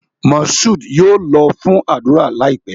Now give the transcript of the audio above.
Moshood yóò lọ fún ádùrá láìpé